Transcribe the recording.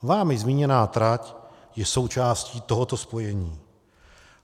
Vámi zmíněná trať je součástí tohoto spojení.